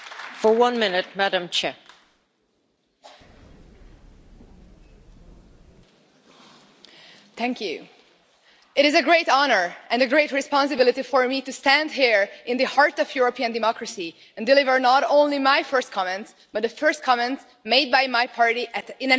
Madam President, it is a great honour and a great responsibility for me to stand here in the heart of European democracy and deliver not only my first comments, but the first comments made by my party in any parliament.